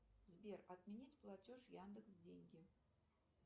сбер отменить платеж яндекс деньги